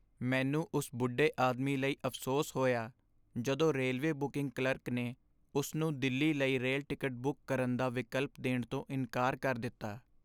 ਮੈਨੂੰ ਉਸ ਬੁੱਢੇ ਆਦਮੀ ਲਈ ਅਫ਼ਸੋਸ ਹੋਇਆ ਜਦੋਂ ਰੇਲਵੇ ਬੁਕਿੰਗ ਕਲਰਕ ਨੇ ਉਸ ਨੂੰ ਦਿੱਲੀ ਲਈ ਰੇਲ ਟਿਕਟ ਬੁੱਕ ਕਰਨ ਦਾ ਵਿਕਲਪ ਦੇਣ ਤੋਂ ਇਨਕਾਰ ਕਰ ਦਿੱਤਾ।